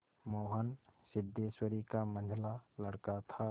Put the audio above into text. मोहन सिद्धेश्वरी का मंझला लड़का था